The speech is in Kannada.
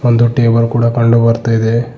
ಒಂದು ಟೇಬಲ್ ಕೂಡ ಕಂಡು ಬರ್ತಾ ಇದೆ.